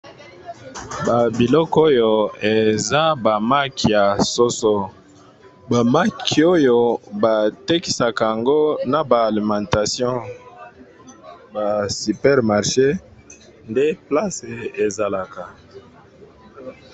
Mesa oyo batandi maki, na matungulu na ba cube maggi Bazo tekisa.